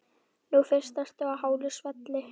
Nú fyrst ertu á hálu svelli.